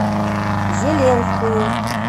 зеленскую